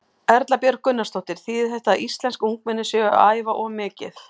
Erla Björg Gunnarsdóttir: Þýðir þetta að íslensk ungmenni séu að æfa of mikið?